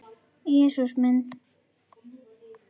Jesús minn!